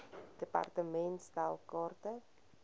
department stel kaarte